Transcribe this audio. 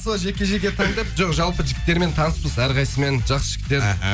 сол жеке жеке таңдап жоқ жалпы жігіттермен таныспыз әрқайсысымен жақсы жігіттер аха